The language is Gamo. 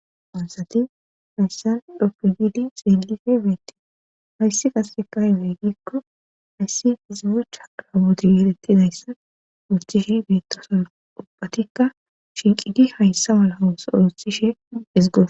Hayisati hayssan dhopqe gili xeelife beette hayssi qase kay weeggikko hayssi hizibecha aabodigelettidayssan urothishe beettosa ubattikka shinqidi hayssa mala owuse othishe ezgo